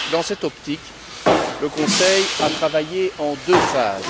Dans cette optique, le Conseil a travaillé en deux phases.